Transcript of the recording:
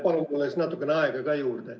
Palun mulle siis natukene aega ka juurde.